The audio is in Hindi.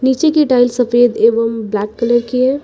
नीचे की टाइल सफेद एवं ब्लैक कलर की है।